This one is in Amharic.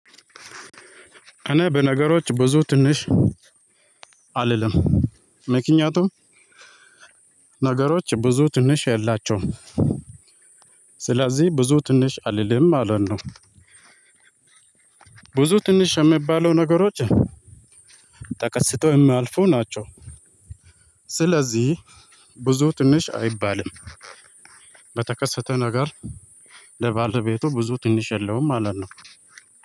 እና በነገሮች ብዙ ትንሽ አልልም። ምከንያቱም ነገሮች ብዙ ትንሽ የላቸውም። ስለዚህ ብዙ ትንሽ አልልም ማለት ነው። ብዙ ትንሽ የሚባሉ ነገሮች ተከስተው የሚያልፉ ናቸው። ስለዚህ ብዙ ትንሽ አይባልም። በተከሰተ ነገር ለባለቤቱ ብዙ ትንሽ የለውም ማለት ነው።